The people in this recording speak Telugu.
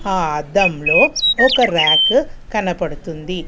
ఆ అద్దంలో ఒక ర్యాకు కనపడుతుంది.